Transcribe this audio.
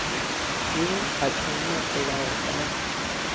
yo a tsenya polao ka